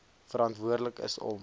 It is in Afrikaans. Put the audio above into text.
verantwoordelik is om